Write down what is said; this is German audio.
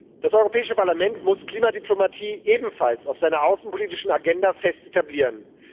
Das Europäische Parlament muss Klimadiplomatie ebenfalls auf seiner außenpolitischen Agenda fest etablieren.